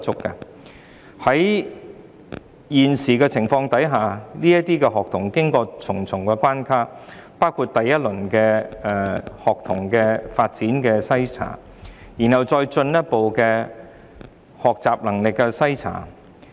在目前的情況下，這些學童要經過重重關卡，包括學童發展篩查，然後是學習能力篩查。